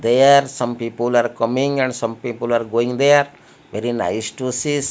there are some people are coming and some people are going there very nice to sees.